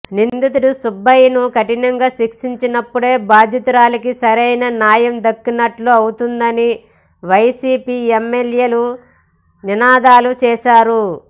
నిందితుడు సుబ్బయ్యను కఠినంగా శిక్షించినప్పుడే బాధితురాలికి సరైన న్యాయం దక్కినట్లు అవుతుందని వైసీపీ ఎమ్మెల్యేలు నినాదాలు చేశారు